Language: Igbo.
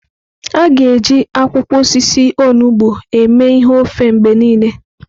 Aga na-eji akwụkwọ osisi onugbo eme ihe ofe mgbe niile.